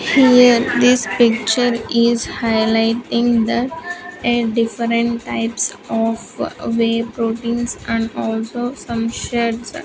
Here this picture is highlighting that a different types of way proteins and also some sheds.